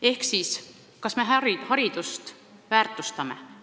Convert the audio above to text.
Ehk siis, kas me haridust väärtustame?